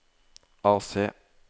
AC